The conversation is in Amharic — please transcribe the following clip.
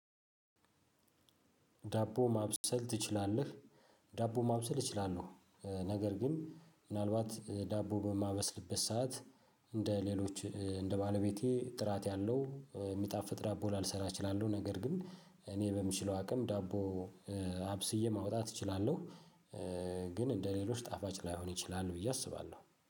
ዳቦ ማብሰል ትችላለህ? ዳቦ ማብሰል እችላለሁ ነገር ግን ምናልባት ዳቦ በማበስልበት ሰዓት እንደ ሌሎች እንደ ባለቤቴ ጥራት ያለው የሚጣፍጥ ዳቦ ላልሰራ እችላለሁ። ነገር ግን እኔ በምችለው አቅም ዳቦ አብስዬ ማውጣት እችላለሁ። ግን እንደሌሎች ጣፋጭ ላይሆን ይችላል ብዬ አስባለሁ